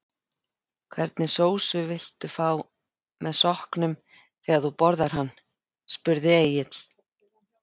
Hvernig sósu vildu fá með sokknum þegar þú borðar hann? spurði Egill.